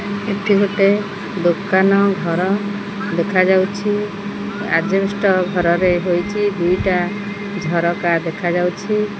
ଏଠି ଗୋଟେ ଦୋକାନ ଘର ଦେଖାଯାଉଛି ଆଜବେଷ୍ଟ ଘରରେ ହୋଇଛି ଦିଟା ଝରକା ଦେଖା ଯାଉଛି।